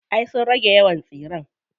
Ay sun rage yawan tsiren.